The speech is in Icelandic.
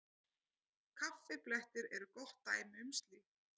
Kaffiblettir eru gott dæmi um slíkt.